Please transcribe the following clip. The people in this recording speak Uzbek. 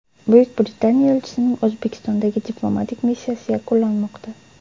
Buyuk Britaniya elchisining O‘zbekistondagi diplomatik missiyasi yakunlanmoqda.